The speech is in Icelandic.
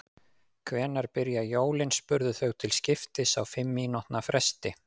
Hvenær byrja jólin? spurðu þau til skiptist á fimm mínútna fresti.